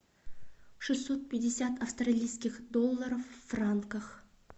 шестьсот пятьдесят австралийских долларов в франках